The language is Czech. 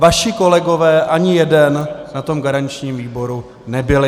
Vaši kolegové, ani jeden, na tom garančním výboru nebyli.